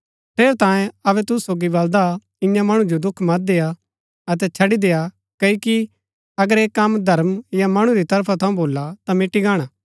ठेरैतांये अबै अऊँ तुसु सोगी बलदा ईयां मणु जो दुख मत देय्आ अतै छड़ी देय्आ क्ओकि अगर ऐह कम धर्म या मणु री तरफा थऊँ भोला ता मिटी गाणा